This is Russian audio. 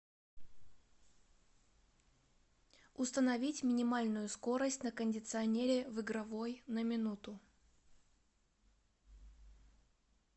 установить минимальную скорость на кондиционере в игровой на минуту